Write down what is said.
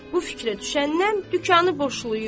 Bu fikrə düşəndən dükanı boşlayıb.